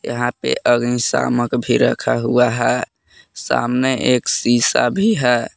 यह पे अग्निशामक भी रखा हुआ है सामने एक शीशा भी है।